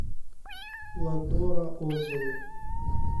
ландора отзывы